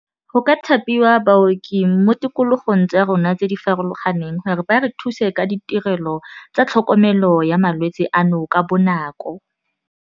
Go ka thapiwa baoki mo tikologong tsa rona tse di farologaneng gore ba re thuse ka ditirelo tsa tlhokomelo ya malwetse ano ka bonako.